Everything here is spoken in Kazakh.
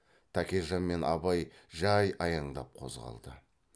тәкежан мен абай жай аяңдап қозғалды